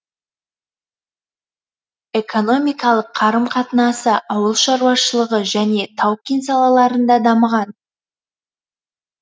экономикалық қарым қатынасы ауыл шаруашылығы және тау кен салаларында дамыған